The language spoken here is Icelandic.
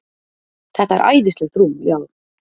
Þetta er æðislegt rúm, já.